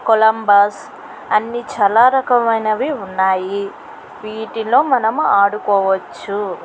Columbus అన్ని చాలా రకమైనవి ఉన్నాయి. వీటిలో మనం ఆడుకోవచ్చు.